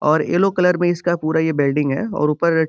और yellow colour में इसका पूरा ये बेल्डिंग है और ऊपर --